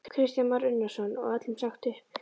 Kristján Már Unnarsson: Og öllum sagt upp?